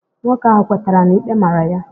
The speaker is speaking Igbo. Nwoke ahụ kwetara na ikpe màrà ya